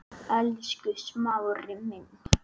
Elsku Smári minn.